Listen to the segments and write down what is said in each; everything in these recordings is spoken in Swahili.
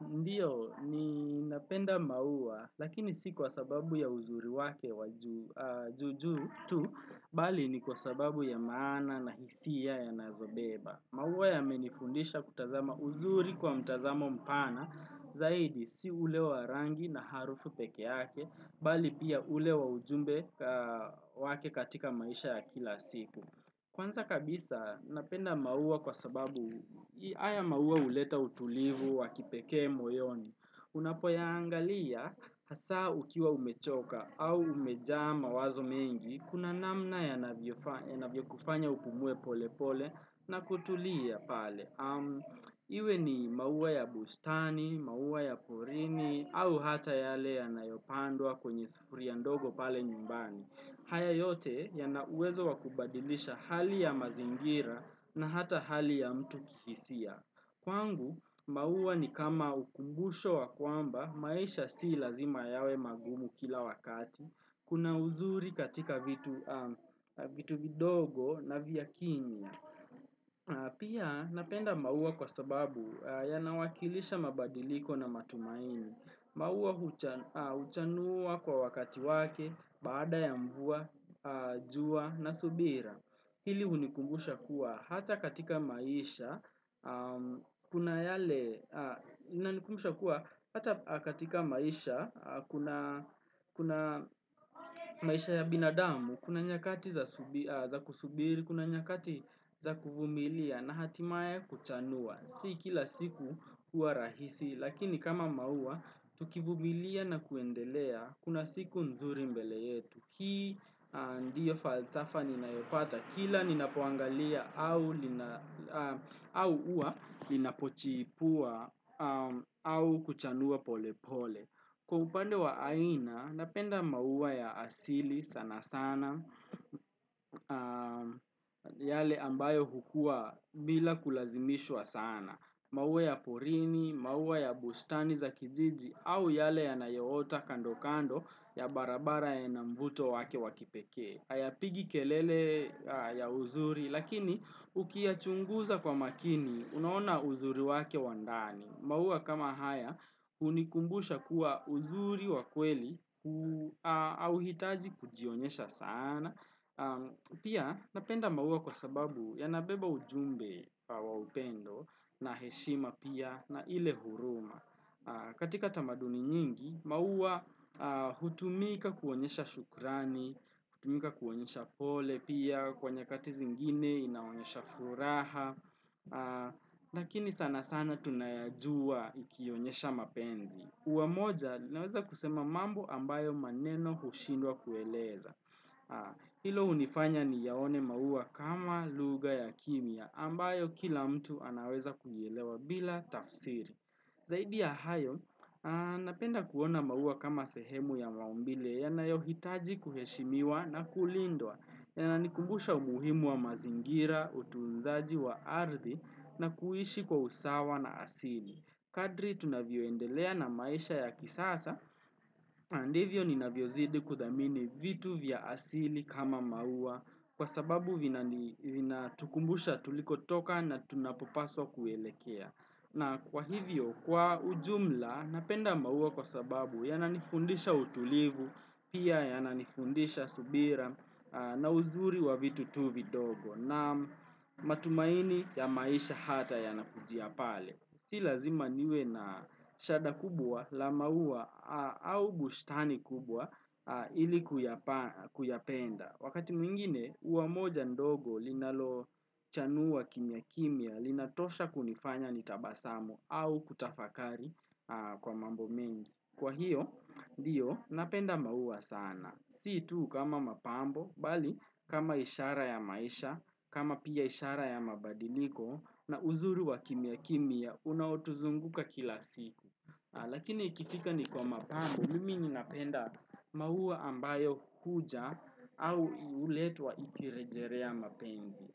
Ndio, ninapenda maua, lakini si kwa sababu ya uzuri wake wajuujuu tu, bali ni kwa sababu ya maana na hisia yanayobeba. Maua yamenifundisha kutazama uzuri kwa mtazamo mpana, zaidi si ule wa rangi na harufu pekeeyake, bali pia ule wa ujumbe wake katika maisha ya kila siku. Kwanza kabisa, napenda maua kwa sababu haya maua huleta utulivu wa kipekee moyoni. Unapoyaangalia, hasaa ukiwa umechoka au umejaa mawazo mengi, kuna namna yanavyo kufanya upumue pole pole na kutulia pale. Iwe ni maua ya bustani, maua ya porini, au hata yale yanayopandwa kwenye sufuria ndogo pale nyumbani. Haya yote ya na uwezo wakubadilisha hali ya mazingira na hata hali ya mtu kihisia. Kwangu, maua ni kama ukumbusho wa kwamba, maisha si lazima yawe magumu kila wakati. Kuna uzuri katika vitu vidogo na vya kinii. Pia napenda maua kwa sababu ya nawakilisha mabadiliko na matumaini. Maua huchanua kwa wakati wake, baada ya mvua, jua na subira. Hili hunikumbusha kuwa hata katika maisha, kuna yale, unikumbusha kuwa hata katika maisha, kuna maisha ya binadamu, kuna nyakati za kusubiri, kuna nyakati za kuvumilia na hatimaye kuchanua. Si kila siku kuwa rahisi, lakini kama maua, tukivumilia na kuendelea, kuna siku nzuri mbele yetu. Kii, ndiyo falsafa, ninayopata kila, ninapoangalia, au ua, linapochipua, au kuchanua pole pole. Kwa upande wa aina, napenda maua ya asili sana sana, yale ambayo hukua bila kulazimishwa sana. Maua ya porini, maua ya bustani za kijiji au yale yanayoota kando kando ya barabara yanamvuto wake wakipekee. Hayapigi kelele ya uzuri lakini ukiyachunguza kwa umakini, unaona uzuri wake wa ndani. Maua kama haya hunikumbusha kuwa uzuri wakweli hauhitaji kujionyesha sana. Pia napenda maua kwa sababu yanabeba ujumbe wa upendo na heshima pia na ile huruma katika tamaduni nyingi, maua hutumika kuonyesha shukrani, hutumika kuonyesha pole pia kwa nyakati zingine inaonyesha furaha Lakini sana sana tunayajua ikionyesha mapenzi ua moja linaweza kusema mambo ambayo maneno hushindwa kueleza Hilo hunifanya niyaone maua kama lugha ya kimya ambayo kila mtu anaweza kuielewa bila tafsiri Zaidi ya hayo, napenda kuona maua kama sehemu ya maumbile yanayo hitaji kuheshimiwa na kulindwa Yanani kumbusha umuhimu wa mazingira, utunzaji wa ardhi na kuishi kwa usawa na asili Kadri tunavyoendelea na maisha ya kisasa, na ndivyo ninavyozidi kudhamini vitu vya asili kama maua kwa sababu vinatukumbusha tulikotoka na tunapopaswa kuelekea. Na kwa hivyo kwa ujumla napenda maua kwa sababu yananifundisha utulivu, pia yananifundisha subira na uzuri wa vitu vidogo na matumaini ya maisha hata yanakujia pale. Si lazima niwe na shahada kubwa la maua au bushtani kubwa ili kuyapenda Wakati mwingine ua moja ndogo linalo chanua kimya kimya Linatosha kunifanya nitabasamu au kutafakari kwa mambo mengi Kwa hiyo ndio napenda maua sana Si tu kama mapambo bali kama ishara ya maisha kama pia ishara ya mabadiliko na uzuri wa kimya kimya unaotuzunguka kila siku Lakini ikifika ni kwa mapambo mimi ninapenda maua ambayo huja au huletwa ikirejerelea mapenzi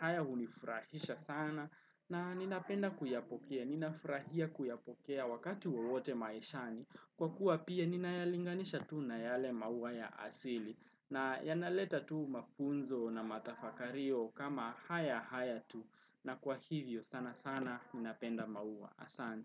haya hunifurahisha sana na ninapenda kuyapokea, ninafurahia kuyapokea wakati wowote maishani Kwa kuwa pia ninayalinganisha tu na yale maua ya asili nayanaleta tu mafunzo na matafakario kama haya haya tu na kwa hivyo sana sana ninapenda mauwa asante.